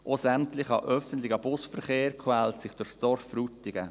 Auch der ganze öffentliche Busverkehr quält sich durch das Dorf Frutigen.